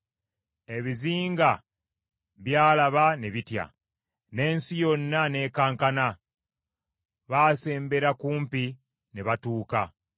Ebizinga by’alaba ne bitya; n’ensi yonna n’ekankana: baasembera kumpi ne batuuka.